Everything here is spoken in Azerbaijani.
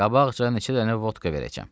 Qabağca neçə dənə vodka verəcəm.